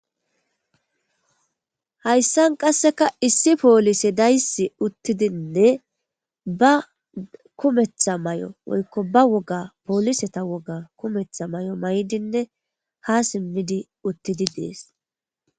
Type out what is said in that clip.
Hayssan qasseka issi poolise daysi uttidinne ba kumetha may7o woykko ba woga pooliseta woga kumetha may7o may7dinne ha simmidi uttidi dees